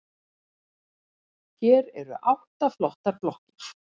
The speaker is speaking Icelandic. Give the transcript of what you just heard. Hér eru átta flottar blokkir.